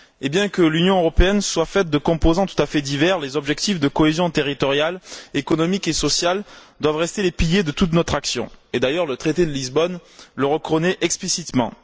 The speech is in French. Bien que l'Union européenne soit faite de composants tout à fait divers, les objectifs de cohésion territoriale, économique et sociale doivent rester les piliers de toute notre action, et le traité de Lisbonne le reconnaît d'ailleurs explicitement.